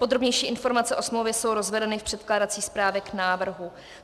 Podrobnější informace o smlouvě jsou rozvedeny v předkládací správě k návrhu.